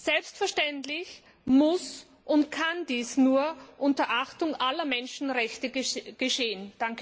Selbstverständlich muss und kann dies nur unter Achtung aller Menschenrechte geschehen.